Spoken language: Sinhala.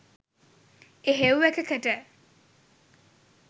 එහෙව් එකකට